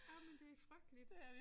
Ej men det frygteligt